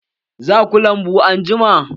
Za ku lambu anjima?